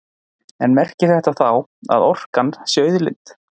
En hvað merkir þetta þá, að orkan sé auðlind?